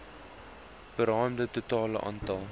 beraamde totale aantal